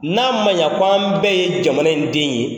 N'a ma ɲa ko an bɛɛ ye jamana in den ye,